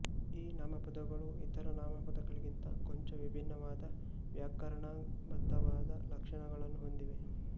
ಈ ನಾಮಪದಗಳು ಇತರ ನಾಮಪದಗಳಿಗಿಂತ ಕೊಂಚ ವಿಭಿನ್ನವಾದ ವ್ಯಾಕರಣಬದ್ಧವಾದ ಲಕ್ಷಣಗಳನ್ನು ಹೊಂದಿವೆ